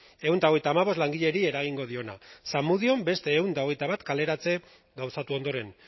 ehun eta hogeita hamabost langileri eragingo diona zamudion beste ehun eta hogeita bat kaleratze gauzatu ondoren